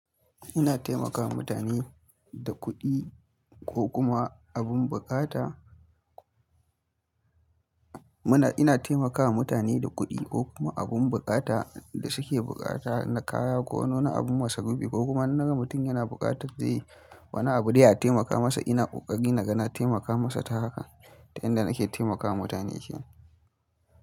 Ina taimakawa mutane da kuɗi ko kuma abin buƙata. Ina taimakawa mutane da kuɗi ko kuma abun buƙata da suke buƙata na kaya ko na wani abun masa rufi ko kuma in naga mutum yana buƙatar wani abu dai a taimaka masa ina ƙoƙari naga na taimaka masa ta haka. Ta yanda nake taimakawa mutane kenan.